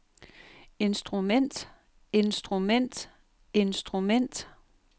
instrument instrument instrument